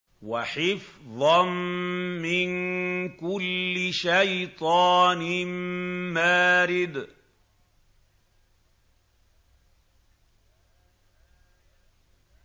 وَحِفْظًا مِّن كُلِّ شَيْطَانٍ مَّارِدٍ